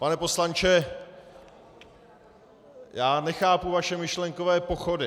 Pane poslanče, já nechápu vaše myšlenkové pochody.